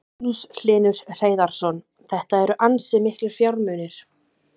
Magnús Hlynur Hreiðarsson: Þetta eru ansi miklir fjármunir?